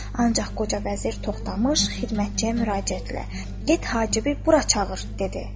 Ancaq qoca vəzir Toxtamış xidmətçiyə müraciətlə: Get, Hacibi bura çağır, dedi.